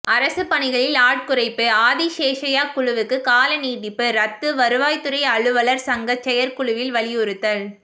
அரசு பணிகளில் ஆட்குறைப்பு ஆதிசேஷய்யா குழுவுக்கு கால நீட்டிப்பு ரத்து வருவாய்த்துறை அலுவலர் சங்க செயற்குழுவில் வலியுறுத்தல்